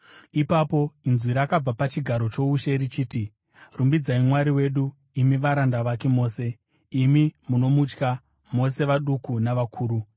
Ipapo inzwi rakabva pachigaro choushe, richiti: “Rumbidzai Mwari wedu, imi varanda vake mose, imi munomutya, mose vaduku navakuru!”